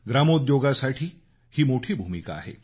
ग्रामोद्योगासाठी ही मोठी भूमिका आहे